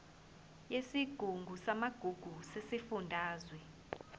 yesigungu samagugu sesifundazwe